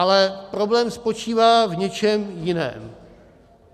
Ale problém spočívá v něčem jiném.